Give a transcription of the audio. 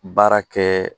Baara kɛ